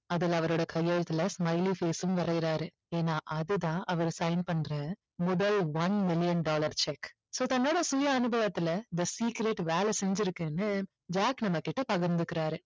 அதுல அவரோட கையெழுத்துல smily face உம் வரையறாரு ஏன்னா அது தான் அவரு sign பண்ணுற முதல் one million dollar cheque so தன்னோட சுய அனுபவத்துல the secret வேலை செஞ்சிருக்குன்னு ஜாக் நம்மகிட்ட பகிர்ந்துக்கிறாரு